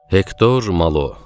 Hektor Malo.